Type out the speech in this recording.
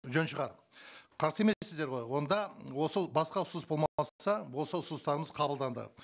жөн шығар қарсы емессіздер ғой онда осы басқа ұсыныс осы ұсыныстарымыз қабылданды